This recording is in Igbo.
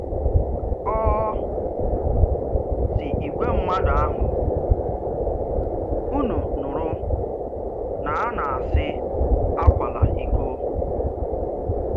Ọ sị ìgwè mmadụ ahụ, “Únù nùrù na a nā-ásị, akwàlà íkò.”